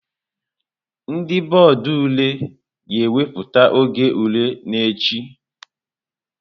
Ndị bọọdụ ule ga-ewepụta oge ule n'echi.